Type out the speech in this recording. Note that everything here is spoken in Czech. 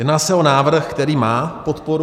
Jedná se o návrh, který má podporu.